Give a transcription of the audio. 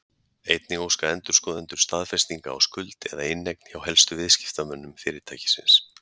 Einnig óska endurskoðendur staðfestinga á skuld eða inneign hjá helstu viðskiptamönnum fyrirtækisins.